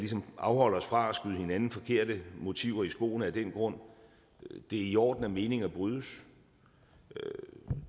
afholde os fra at skyde hinanden forkerte motiver i skoene af den grund det er i orden at meninger brydes